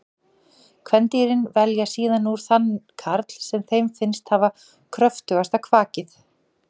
Kvendýrin velja síðan úr þann karl sem þeim finnst hafa kröftugasta kvakið.